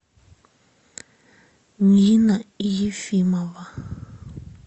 нина ефимова